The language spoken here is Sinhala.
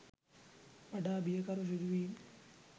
වඩා බියකරු සිදුවීම්